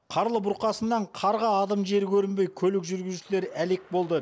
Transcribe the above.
қарлы бұрқасыннан қарға адым жер көрінбей көлік жүргізушілері әлек болды